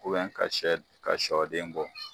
ka shɔden bɔ.